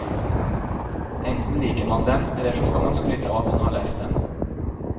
Enten liker man dem eller så skal man skryte av at man har lest dem.